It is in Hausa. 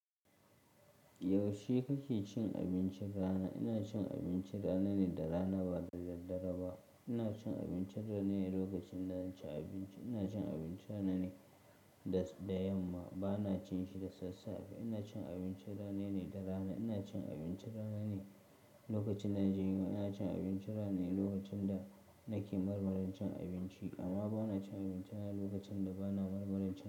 Yaushe kake cin abincin rana? Ina cin abinci rana ne da rana ba daddare ba. Ina cin abinci rana ne lokacin da na ci abinci. Ina cin abinci rana ne da, da yamma. Ba na cin shi da sassafe. Ina cin abinci rana ne da rana. Ina cin abinci rana ne lokacin da na je gida. Ina cin abinci rana ne lokacin da nake marmarin cin abinci. Amma ba na cin abinci rana lokacin da ba na marmarin cin abinci.